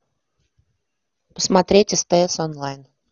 смотреть стс онлайн